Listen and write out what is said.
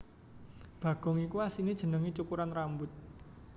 Bagong iku asliné jenengé cukuran rambut